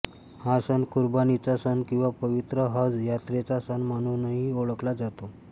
हा सण कुर्बानीचा सण किंवा पवित्र हज यात्रेचा सण म्हणूनही ओळखला जातो